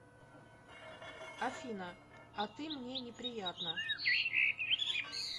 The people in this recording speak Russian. афина а ты мне неприятна